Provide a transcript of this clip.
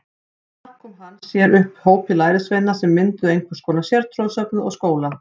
Þar kom hann sér upp hópi lærisveina sem mynduðu einhvers konar sértrúarsöfnuð og skóla.